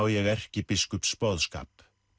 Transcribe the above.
ég erkibiskups boðskap